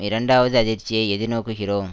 இரண்டாவது அதிர்ச்சியை எதிர்நோக்குகிறோம்